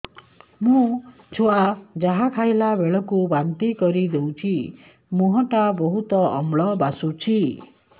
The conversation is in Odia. ମୋ ଛୁଆ ଯାହା ଖାଇଲା ବେଳକୁ ବାନ୍ତି କରିଦଉଛି ମୁହଁ ଟା ବହୁତ ଅମ୍ଳ ବାସୁଛି